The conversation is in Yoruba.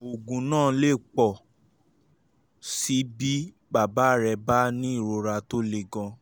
oògùn náà lè pọ̀ sí i bí bàbá rẹ bá ní ìrora tó le gan-an